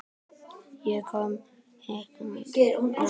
Ég kom hikandi nær.